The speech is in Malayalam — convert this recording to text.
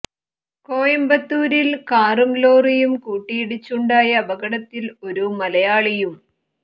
കോയമ്പത്തൂരിൽ കാറും ലോറിയും കൂട്ടിയിടിച്ച് ഉണ്ടായ അപകടത്തിൽ ഒരു മലയാളിയും